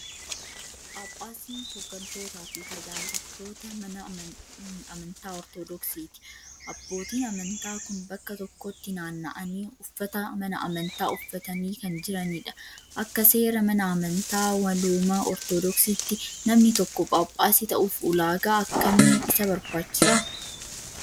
Paaphaasiin hoggantoota fi tajaajiltoota mana mana amntaa Ortoodkissiti. Abootiin amantaa kun bakka tokkotti naanna'anii uffata mana amantaa uffatanii kan jiranidha. Akka seera mana amantaa walooma Ortoodokiitti namni tokko phaaphaasii ta'uuf ulaagaa akkamii isa barbaachisa?